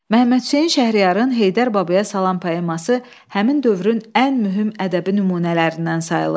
Məmmədhüseyn Şəhriyarın Heydər Babaya salam poeması həmin dövrün ən mühüm ədəbi nümunələrindən sayılır.